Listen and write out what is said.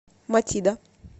матида